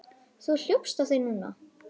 Þú hljópst á þig núna.